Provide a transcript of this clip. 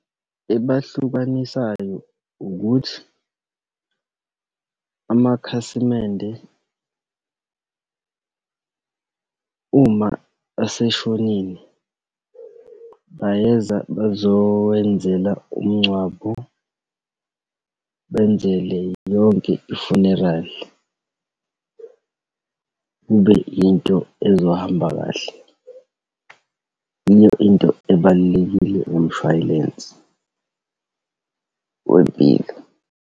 Ebahlukanisayo ukuthi amakhasimende uma eseshonile bayeza bazowenzela umngcwabo, benzele yonke i-funeral. Kube into ezohamba kahle. Yiyo into ebalulekile kumshwayilensi wempilo.